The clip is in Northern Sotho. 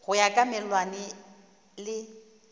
go ya ka melawana le